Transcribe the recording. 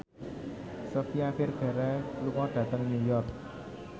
Sofia Vergara lunga dhateng New York